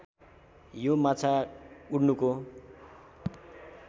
यो माछा उड्नुको